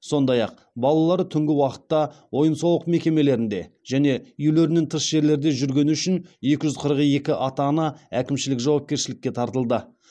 сондай ақ балалар түнгі уақытта ойын сауық мекемелерінде және үйлерінен тыс жерлерде жүргені үшін екі жүз қырық екі ата ана әкімшілік жауапкершілікке тартылды